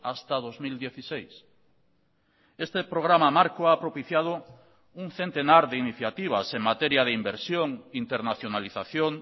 hasta dos mil dieciséis este programa marco ha propiciado un centenar de iniciativas en materia de inversión internacionalización